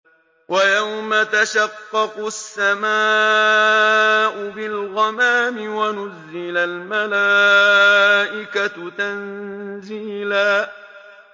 وَيَوْمَ تَشَقَّقُ السَّمَاءُ بِالْغَمَامِ وَنُزِّلَ الْمَلَائِكَةُ تَنزِيلًا